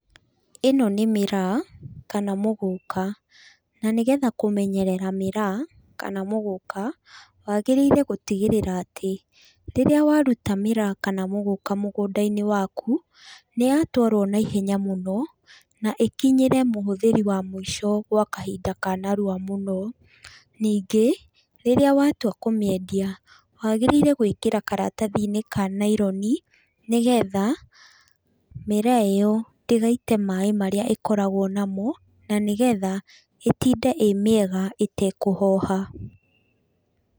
Ĩno nĩ mĩraa, kana mũgũka. Na nĩgetha kũmenyerera miraa kana mũgũka, wagĩrĩire gũtigĩrĩra atĩ rĩrĩa waruta mĩraa kana mũgũka mũgũnda-inĩ waku, nĩyatwarwo naihenya mũno, na ikinyĩre mũhũthĩri wa mũico gwa kahinda ka narua mũno. Ningĩ, rĩrĩa watua kũmĩendia, wagĩrĩire gwĩkĩra karatathi-inĩ ka naironi, nĩgetha, mĩraa ĩyo ndĩgaite maĩ marĩa ĩkoragwo namo, na nĩgetha ĩtinde ĩ mĩega ĩtekũhoha.